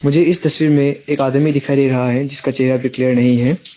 मुझे इस तस्वीर में एक आदमी दिखाई दे रहा है जिसका चेहरा भी क्लियर नहीं है।